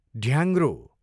ढ्याङ्ग्रो